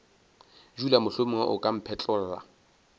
dula mohlomongwe o ka mphetlolla